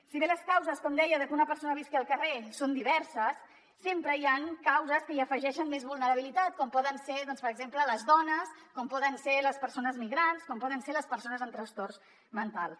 si bé les causes com deia de que una persona visqui al carrer són diverses sempre hi han causes que hi afegeixen més vulnerabilitat com poden ser per exemple les dones com poden ser les persones migrants com poden ser les persones amb trastorns mentals